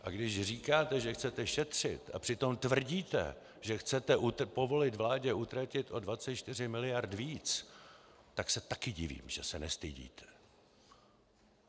A když říkáte, že chcete šetřit, a přitom tvrdíte, že chcete povolit vládě utratit o 24 mld. víc, tak se taky divím, že se nestydíte.